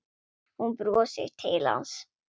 Hún brosir til hans.